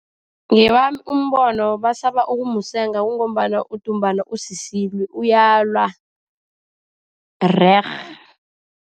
Ngowami umbono basaba ukumusenga, kungombana udumbana usisilwi. Uyalwa, rerhe.